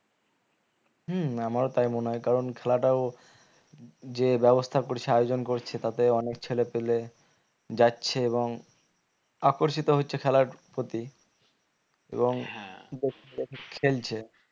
হম আমার ও তাই মনে হয়ে কারণ খেলাটাও যে ব্যবস্থা করছে আয়োজন করছে তাতে অনেক ছেলে পিলে যাচ্ছে এবং আকর্ষিত হচ্ছে খেলার প্রতি খেলছে।